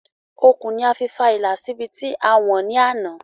Okùn ni a fi fa ìlà sí ibi tí a wọ̀n ní àná